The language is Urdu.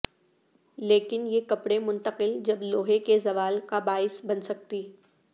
لیکن یہ کپڑے منتقل جب لوہے کے زوال کا باعث بن سکتی